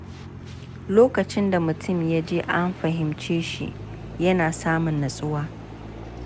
Lokacin da mutum ya ji an fahimce shi, yana samun nutsuwa.